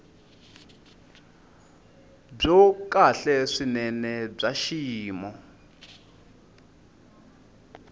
byo kahle swinene bya xiyimo